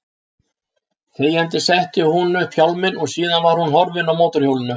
Þegjandi setti hún upp hjálminn og síðan var hún horfin á mótorhjólinu.